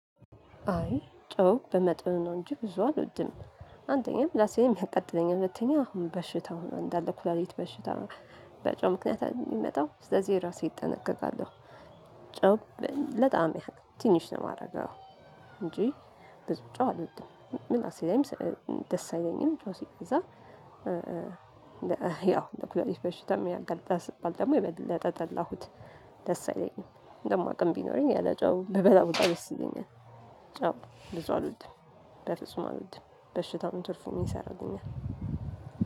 አይ ጮው በመጥኑ ነው እንጂ ብዙ አልወድም። አንደኛው ምላሴንም ያቃጥለኛል ሁለተኛ አሁን በሽታው ነው እንዳለ ኩላሊት በሽታ። በጨው ምክንያት ኣደል የሚመጣው ስለዚህ ራሴ እጠነቀቃለሁ። ጨው ለጣዕም ያህል ትንሽ ነው የማደርገው እንጂ። ብዙ ጨው አልወድም ምላሴ ላይም ደስ አይለኝም ጮው ሲበዛ። ያው እንደ ኩላሊት በሽታም ያገለጣል ስባል ደግሞ የበለጠ ጠላሁት። ደስ አይለኝም። ደግሞ አቅም ቢኖረኝ ያለ ጨው ብበላ ዉላ ደስ ይለኛል። ጨው ብዙ አልውድም። በፍጹም አልውድም በሽታ ነው ትርፉ ምን ይሰራልኛል?